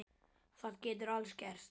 Það getur allt gerst.